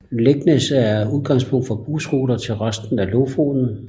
Leknes er udgangspunkt for bussruter til resten af Lofoten